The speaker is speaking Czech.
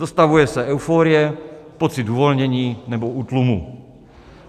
Dostavuje se euforie, pocit uvolnění nebo útlumu.